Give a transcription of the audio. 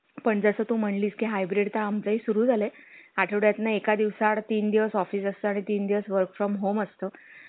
असं करूया बरं का बरं का double XL सगळे दहा दहा दहा देऊन टाकू.